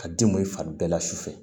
Ka den mun i fari bɛɛ la su fɛ